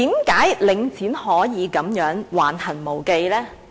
為何領展可以如此橫行無忌呢？